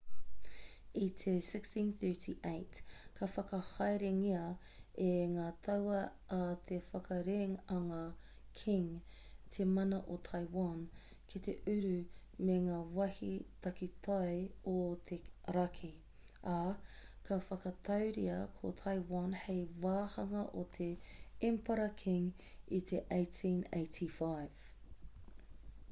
i te 1638 ka whakahaerengia e ngā tauā a te whakareanga qing te mana o taiwan ki te uru me ngā wāhi takutai o te raki ā ka whakatauria ko taiwan hei wāhanga o te emapara qing i te 1885